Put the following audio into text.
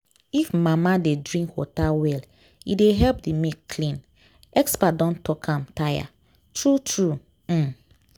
if mama dey drink water well e dey help the milk clean. experts don talk am tire… true-true. um